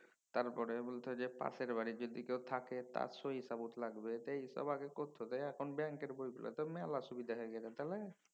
তারপরে বলত যে পাশের বাড়ি যদি কেউ থাকে তার সই সাবুথ লাগবে এইসব আগে করতে হত। এই এখন ব্যাঙ্কের বইগুলাতে মেলা সুবিধা হয়ে গেছে। তাহলে